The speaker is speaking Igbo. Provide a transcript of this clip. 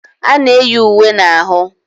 A na-eyi uwe na ahụ